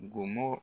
Gonmo